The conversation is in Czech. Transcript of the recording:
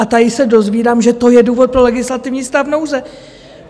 A tady se dozvídám, že to je důvod pro legislativní stav nouze.